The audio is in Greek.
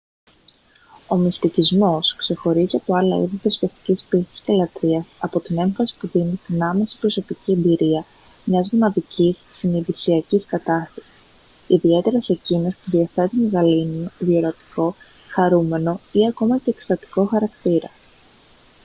ο μυστικισμός ξεχωρίζει από άλλα είδη θρησκευτικής πίστης και λατρείας από την έμφαση που δίνει στην άμεση προσωπική εμπειρία μιας μοναδικής συνειδησιακής κατάστασης ιδιαίτερα σε εκείνες που διαθέτουν γαλήνιο διορατικό χαρούμενο ή ακόμη και εκστατικό χαρακτήρα